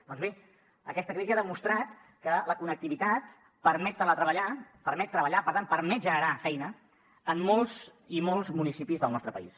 doncs bé aquesta crisi ha demostrat que la connectivitat permet teletreballar permet treballar per tant permet generar feina en molts i molts municipis del nostre país